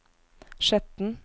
Skjetten